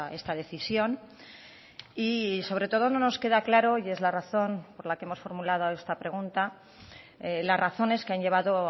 esta decisión y sobre todo no nos queda claro y es la razón por la que hemos formulado esta pregunta las razones que han llevado